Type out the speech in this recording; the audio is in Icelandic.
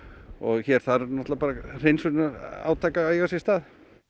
hér þarf náttúrulega bara hreinsunarátak að eiga sér stað